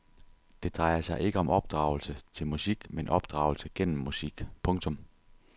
Det drejer sig ikke om opdragelse til musik men opdragelse gennem musik. punktum